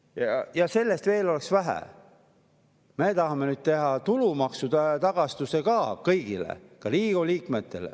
Ja nagu sellest oleks veel vähe, nüüd me tahame teha tulumaksutagastuse kõigile, ka Riigikogu liikmetele.